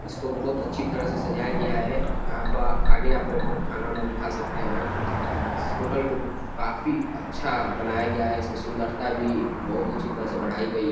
इसको बहोत अच्छी तरह से सजाया गया है। यहां पा आगे आप बैठकर खाना-ओना भी खा सकते हैं। इस होटल को काफी अच्छा बनाया गया है। इसमें सुंदरता भी बहोत अच्छी तरह से बढ़ाई गई है।